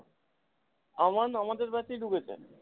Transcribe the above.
আমান আমাদের batch এই ঢুকেছে।